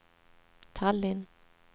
Tallinn